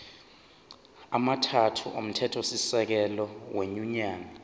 amathathu omthethosisekelo wenyunyane